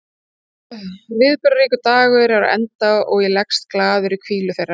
Viðburðaríkur dagur er á enda og ég leggst glaður í hvílu þeirra.